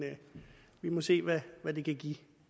vi må se hvad det kan give